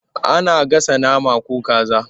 Ana gasa nama ko kaza.